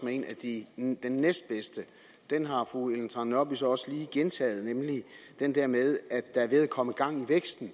med den næstbedste den har fru ellen trane nørby så også lige gentaget nemlig den der med at der er ved at komme gang i væksten